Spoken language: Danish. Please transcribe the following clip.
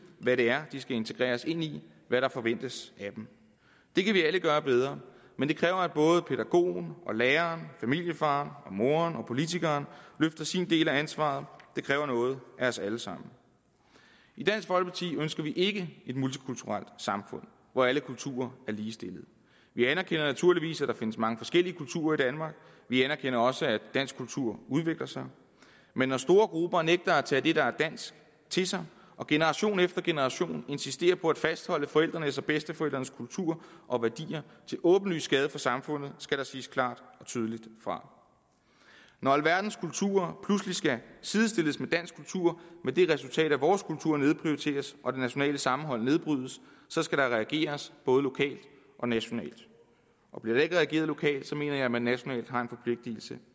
hvad det er de skal integreres ind i hvad der forventes af dem det kan vi alle gøre bedre men det kræver at både pædagogen læreren familiefaren og moren og politikeren løfter sin del af ansvaret det kræver noget af os alle sammen i dansk folkeparti ønsker vi ikke et multikulturelt samfund hvor alle kulturer er ligestillede vi anerkender naturligvis at der findes mange forskellige kulturer i danmark vi anerkender også at dansk kultur udvikler sig men når store grupper nægter at tage det der er dansk til sig og generation efter generation insisterer på at fastholde forældrenes og bedsteforældrenes kultur og værdier til åbenlys skade for samfundet skal der siges klart og tydeligt fra når alverdens kulturer pludselig skal sidestilles med dansk kultur med det resultat at vores kultur nedprioriteres og det nationale sammenhold nedbrydes så skal der reageres både lokalt og nationalt bliver der ikke reageret lokalt mener jeg at man nationalt har en forpligtelse